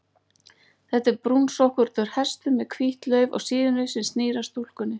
Þetta er brúnsokkóttur hestur með hvítt lauf á síðunni, sem snýr að stúlkunni.